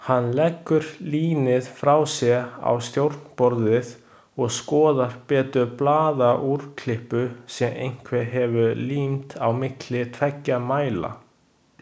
Hann leggur línið frá sér á stjórnborðið og skoðar betur blaðaúrklippu sem einhver hefur límt á milli tveggja mæla.